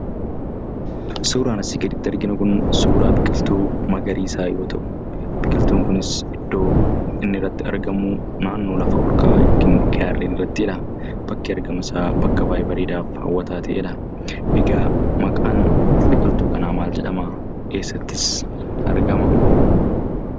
Suuraan asii gaditti arginu kun suuraa biqiltuu magariisaa yoo ta'u, biqiltuun kunis iddoon itti argamu naannoo lafa olka'a a yookiin gaarreen irrattiidha. Bakki argama isaa bakka baay'ee bareedaafi hawwataa ta'eedha. Egaa maqaan biqiltuu kanaa maal jedhama? Eessattis argama?